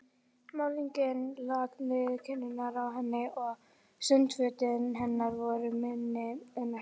Málningin lak niður kinnarnar á henni og sundfötin hennar voru minni en ekki neitt.